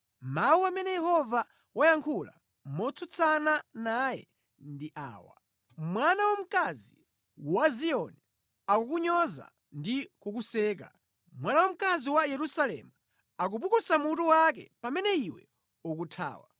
Mawu amene Yehova wayankhula motsutsana naye ndi awa: “Mwana wamkazi wa Ziyoni akukunyoza ndi kukuseka. Mwana wamkazi wa Yerusalemu, akupukusa mutu wake pamene iwe ukuthawa.